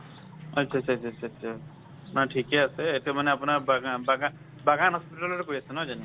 আচ্ছা আচ্ছা আচ্ছা আচ্ছা। মানে ঠিকে আছে এইটো মানে আপোনাৰ বাগা বাগা বাগান hospital তে কৰি আছে নহয় জানো।